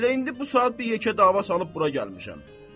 Elə indi bu saat bir yekə dava salıb bura gəlmişəm.